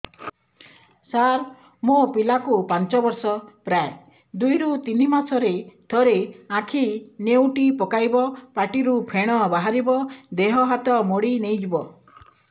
ସାର ମୋ ପିଲା କୁ ପାଞ୍ଚ ବର୍ଷ ପ୍ରାୟ ଦୁଇରୁ ତିନି ମାସ ରେ ଥରେ ଆଖି ନେଉଟି ପକାଇବ ପାଟିରୁ ଫେଣ ବାହାରିବ ଦେହ ହାତ ମୋଡି ନେଇଯିବ